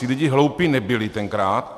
Ti lidé hloupí nebyli tenkrát.